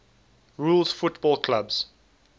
rules football clubs